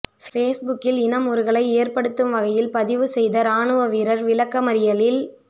பேஸ்புக்கில் இன முறுகலை ஏற்படுத்தும் வகையில் பதிவு செய்த இராணுவ வீரர் விளக்கமறியலில்